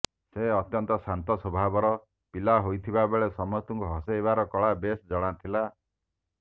ସେ ଅତ୍ୟନ୍ତ ଶାନ୍ତ ସ୍ୱଭାବର ପିଲା ହୋଇଥିବାବେଳେ ସମସ୍ତଙ୍କୁ ହସାଇବାର କଳା ବେଶ୍ ଜଣା ଥିଲା